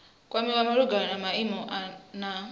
kwamiwa malugana na maimo na